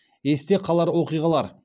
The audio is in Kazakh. есте қалар оқиғалар